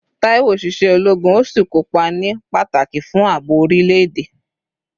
Taiwo ṣiṣẹ́ ológun, ó sì kópa ní pàtàkì fún ààbò orílẹ̀-èdè